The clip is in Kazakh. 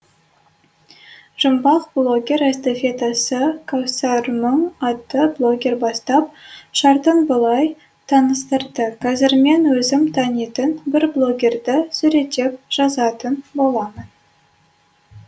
жұмбақ блогер эстафетасы кәусар мұң атты блогер бастап шартын былай таныстырды қазір мен өзім танитын бір блогерді суреттеп жазатын боламын